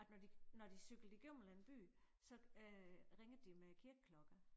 At når de når de cyklet igennem en eller anden by så øh ringet de med kirkeklokker